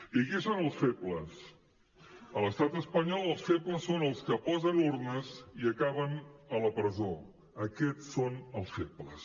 i qui són els febles a l’estat espanyol els febles són els que posen urnes i acaben a la presó aquests són els febles